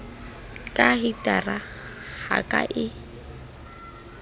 ka hitara ka ha e